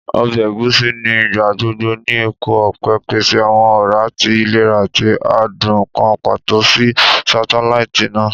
Ọbẹ Egusi ni igbagbogbo ni epo ọpẹ, pese awọn ọra ti ilera ati adun kan pato si satelaiti naa.